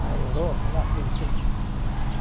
Na Europa, lá com quem?